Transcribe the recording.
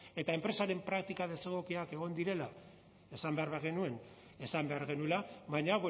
eta enpresaren praktika desegokiak egon direla esan behar bagenuen esan behar genuela baina